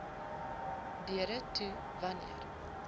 deure toe wanneer